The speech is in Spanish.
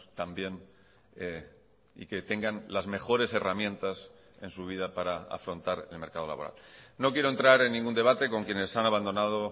también y que tengan las mejores herramientas en su vida para afrontar el mercado laboral no quiero entrar en ningún debate con quienes han abandonado